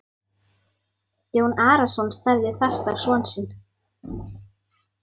Jón Arason starði fast á son sinn.